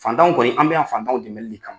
Fantanw kɔni an bɛ yan fantanw dɛmɛli de kama.